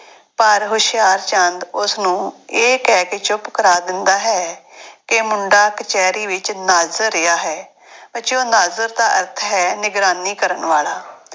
ਪਰ ਹੁਸ਼ਿਆਰਚੰਦ ਉਸਨੂੰ ਇਹ ਕਹਿ ਕੇ ਚੁੱਪ ਕਰਾ ਦਿੰਦਾ ਹੈ ਕਿ ਮੁੰਡਾ ਕਚਿਹਰੀ ਵਿੱਚ ਨਾਜ਼ਰ ਰਿਹਾ ਹੈ, ਬੱਚਿਓ ਨਾਜ਼ਰ ਦਾ ਅਰਥ ਹੈ ਨਿਗਰਾਨੀ ਕਰਨ ਵਾਲਾ।